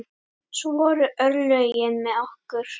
Svo voru örlögin með okkur.